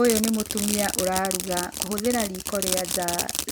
Ũyũ nĩ mũtumia ũraruga kũhũthĩra riiko rĩa nja.